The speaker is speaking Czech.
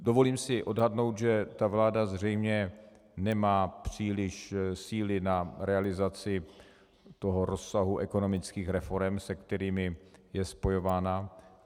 Dovolím si odhadnout, že ta vláda zřejmě nemá příliš síly na realizaci toho rozsahu ekonomických reforem, se kterými je spojována.